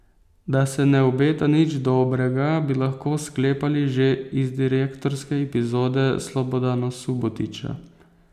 Da se ne obeta nič dobrega, bi lahko sklepali že iz direktorske epizode Slobodana Subotića.